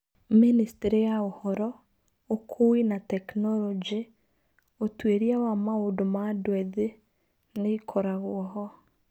Ministry ya ũhoro, ũkuui na tekinoronjĩ, ũtuĩria na maũndũ ma andũ ethĩ nĩ ĩkoragwo ho.